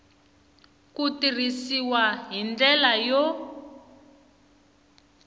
ku tirhisiwa hi ndlela yo